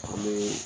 An bɛ